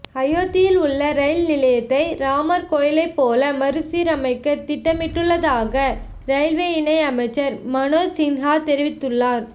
அயோத்தியில் உள்ள ரயில் நிலையத்தை ராமர் கோயிலைப் போல மறுசீரமைக்க திட்டமிட்டுள்ளதாக ரயில்வே இணை அமைச்சர் மனோஜ் சின்ஹா தெரிவித்துள்ளார்